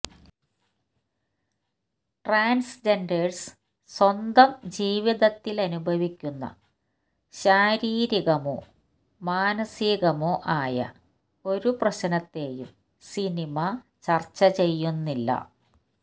transgenders സ്വന്തം ജീവിതത്തിലനുഭവിക്കുന്ന ശാരീരികമോ മാനസീകമോ ആയ ഒരു പ്രശ്നത്തെയും സിനിമ ചര്ച്ച ചെയ്യുന്നില്ല